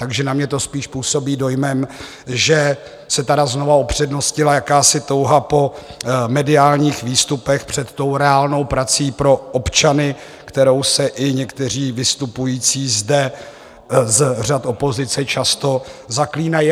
Takže na mě to spíš působí dojmem, že se tady znovu upřednostnila jakási touha po mediálních výstupech před tou reálnou prací pro občany, kterou se i někteří vystupující zde z řad opozice často zaklínají.